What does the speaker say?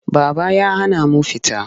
Baba ya hana mu fita.